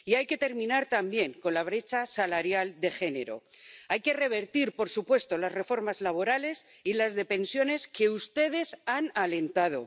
Y hay que terminar también con la brecha salarial de género. Hay que revertir, por supuesto, las reformas laborales y las de pensiones que ustedes han alentado.